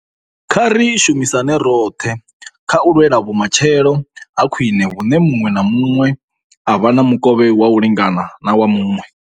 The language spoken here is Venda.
Kha ri shumisane roṱhe kha u lwela vhumatshelo ha khwiṋe vhune muṅwe na muṅwe a vha na mukovhe wa u lingana na wa muṅwe.